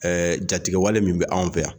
Ɛɛ jatigiwale min bɛ anw fɛ yan